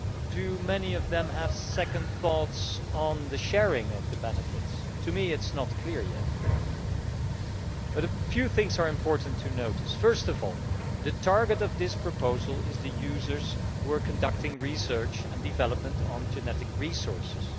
do many of them have second thoughts on the sharing of the benefits? That is not clear yet, but a few things are important to notice first of all the target of this proposal is the users who are conducting research and development on genetic resources.